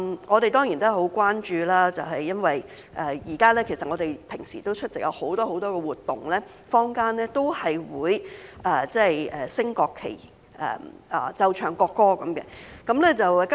我們當然很關注，因為現在我們日常出席很多活動時，坊間也會升掛國旗和奏唱國歌。